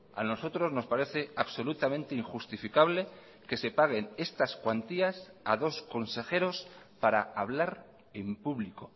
a nosotros nos parece absolutamente injustificable que se paguen estas cuantías a dos consejeros para hablar en público